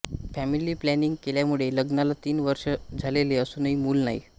family planning केल्यामुळे लग्नाला तीन वर्ष झालेली असूनही मूल नाही